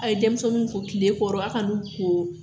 A ye denmisɛnw ko tile kɔrɔ a kana u ko